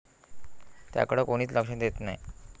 त्याकडं कोणीच लक्ष देत नाही.